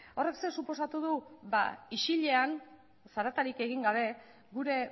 horrek zer suposatu du ba isilean zaratarik egin gabe gure